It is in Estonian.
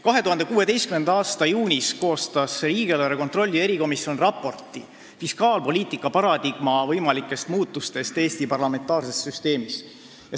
2016. aasta juunis koostas riigieelarve kontrolli erikomisjon raporti "Fiskaalpoliitika paradigma võimalikest muutustest Eesti parlamentaarses süsteemis".